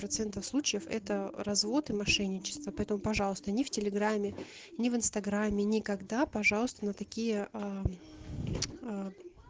процентов случаев это развод и мошенничество поэтому пожалуйста ни в телеграмме ни в инстаграме никогда пожалуйста на такие